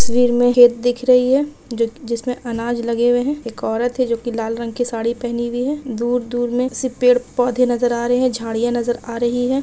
तस्वीर में ये दिख रही है जि जिसमें अनाज लगे हुए हैं एक औरत है जो कि लाल रंग की साड़ी पहनी हुई है दूर-दूर में सिर्फ पेड़-पौधे नजर आ रहे हैं झाड़ियां नजर आ रही है।